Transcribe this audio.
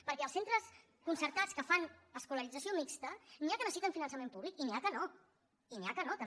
perquè els centres concertats que fan escolarització mixta n’hi ha que necessiten finançament públic i n’hi ha que no i n’hi ha que no també